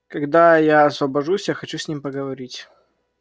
когда я освобожусь я хочу с ним поговорить